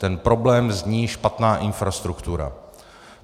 Ten problém zní špatná infrastruktura.